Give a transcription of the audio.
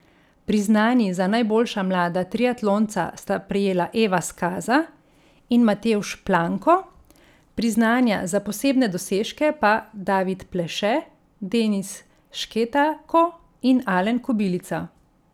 Priznanji za najboljša mlada triatlonca sta prejela Eva Skaza in Matevž Planko, priznanja za posebne dosežke pa David Pleše, Denis Šketako in Alen Kobilica.